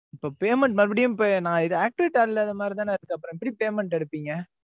இப்ப payment மறுபடியும் இப்ப, நான் இதை activate ஆ இல்லாத மாதிரி தானே இருக்கு. அப்புறம் எப்படி payment எடுப்பீங்க?